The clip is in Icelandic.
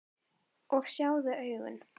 Og sjáðu augun!